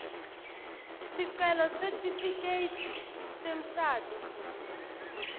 sicelo sesitifiketi semshado